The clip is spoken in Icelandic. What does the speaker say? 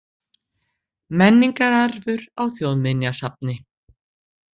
Menningararfur á Þjóðminjasafni.